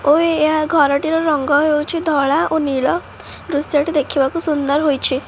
ଓଏ ଏହା ଘରଟିର ରଙ୍ଗ ହେଉଛି ଧଳା ଓ ନୀଳ ଦୃଶ୍ୟଟି ଦେଖିବାକୁ ସୁନ୍ଦର ହୋଇଛି।